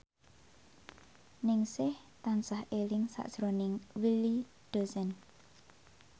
Ningsih tansah eling sakjroning Willy Dozan